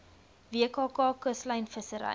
wkk kuslyn vissery